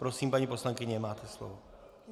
Prosím, paní poslankyně, máte slovo.